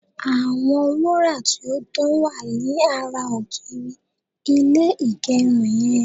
àwọn wura ti o dan wa ni ara ogiri ilé igerun yen